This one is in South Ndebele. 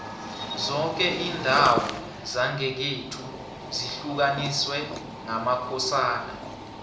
zoke indawo zangekhethu zihlukaniswe ngamakhosana